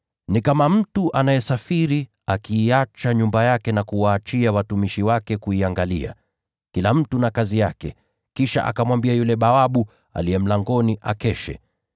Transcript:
Ni kama mtu anayesafiri. Anaiacha nyumba yake na kuwaachia watumishi wake kuiangalia, kila mtu na kazi yake, kisha akamwamuru yule bawabu aliye mlangoni akeshe.